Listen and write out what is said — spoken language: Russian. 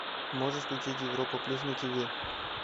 можешь включить европа плюс на тв